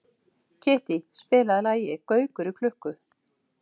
Kittý, spilaðu lagið „Gaukur í klukku“.